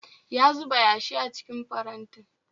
Ya zuba yashi a cikin farantin